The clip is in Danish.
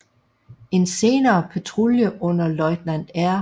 En senere patrulje under løjtnant R